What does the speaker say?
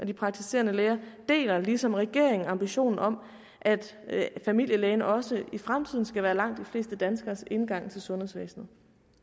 de praktiserende læger deler ligesom regeringen ambitionen om at familielægen også i fremtiden skal være langt de fleste danskeres indgang til sundhedsvæsenet